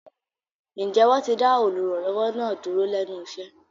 Ǹjẹ́ wọ́n ti dá olùrànlọ́wọ́ náà dúró lẹ́nu iṣẹ́?